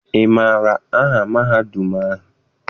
Ị maara aha mahadum ahụ?